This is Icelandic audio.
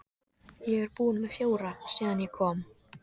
Ég er búinn með fjóra síðan ég kom.